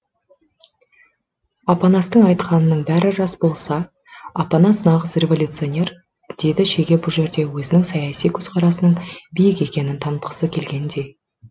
апанастың айтқанының бәрі рас болса апанас нағыз революционер деді шеге бұл жерде өзінің саяси көзқарасының биік екенін танытқысы келгендей